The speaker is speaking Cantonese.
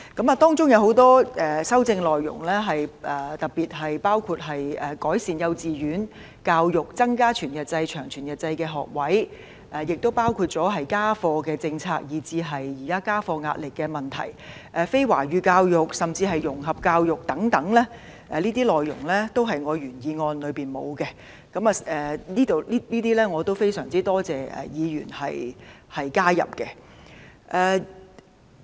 其中修正案的內容，特別是改善幼稚園教育，增加全日制及長全日制學額，包括家課政策、家課壓力的問題，以及非華語教育，甚至融合教育等，這些內容都是原議案所沒有，因此我非常多謝各位議員把它們都加入了。